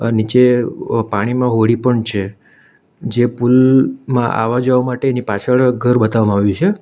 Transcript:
નીચે પાણીમાં હોડી પણ છે જે પુલમાં આવવા જવા માટેની પાછળ ઘર બતાવવામાં આવ્યું છે.